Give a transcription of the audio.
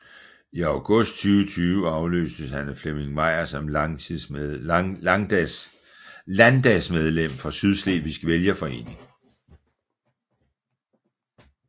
I august 2020 afløste han Flemming Meyer som landdagsmedlem for Sydslesvigsk Vælgerforening